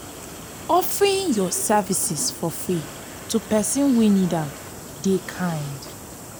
offering yur services for free to pesin wey nid am dey kind.